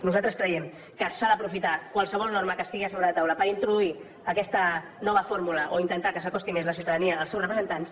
nosaltres creiem que s’ha d’aprofitar qualsevol norma que estigui a sobre la taula per introduir aquesta nova fórmula o intentar que s’acosti més la ciutadania als seus representants